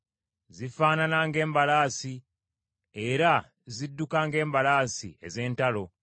Zifaanana ng’embalaasi, era zidduka ng’embalaasi ez’entalo.